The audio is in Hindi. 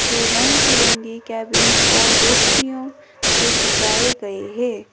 दो रंग बिरंगी कैबिन्स और रोशनियों से सजाए गए हैं।